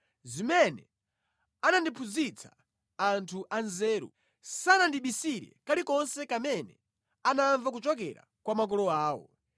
zimene anandiphunzitsa anthu anzeru, sanandibisire kalikonse kamene anamva kuchokera kwa makolo awo.